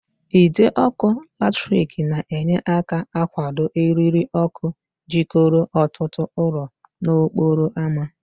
Ide ọkụ latrik na-enye aka akwụdo eriri ọkụ jikọrọ ọtụtụ ụlọ n'okporo ámá.